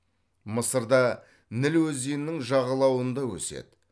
мысырда ніл өзенінің жағалауында өседі